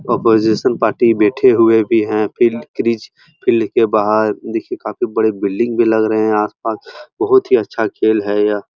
Opposition party बैठी हुए भी हैं। फील्ड क्रीज़ फील्ड के बाहर देखिये काफी बड़े बिल्डिंग भी लग है आस-पास। बहोत अच्छा खेल है यह।